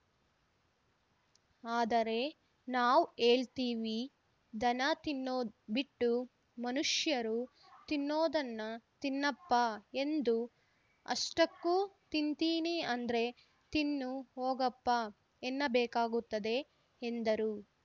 ಆದರೆ ನಾವ್‌ ಹೇಳ್ತೀವಿ ದನ ತಿನ್ನೋದ್‌ ಬಿಟ್ಟು ಮನುಷ್ಯರು ತಿನ್ನೋದನ ತಿನ್ನಪ್ಪ ಎಂದು ಅಷ್ಟಕ್ಕೂ ತಿಂತಿನಿ ಅಂದ್ರೆ ತಿನ್ನು ಹೋಗಪ್ಪ ಎನ್ನಬೇಕಾಗುತ್ತದೆ ಎಂದರು